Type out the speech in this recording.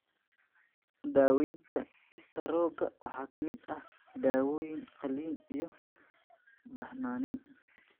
Daawaynta istaroogga waxa ka mid ah dawooyin, qalliin, iyo baxnaanin.